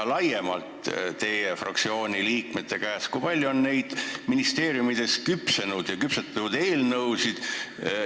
Aga laiemalt küsin teie fraktsiooni liikmete käest, kui palju on üldse ministeeriumides küpsenud eelnõusid, millega te võiksite välja tulla.